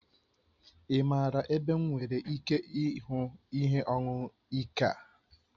Ị maara ebe m nwere ike ịhụ ihe ọṅụṅụ ike a?